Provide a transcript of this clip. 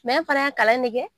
Mɛ an fana y'a kalan de kɛ.